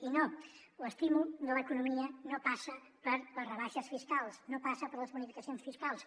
i no l’estímul de l’economia no passa per les rebaixes fiscals no passa per les bonificacions fiscals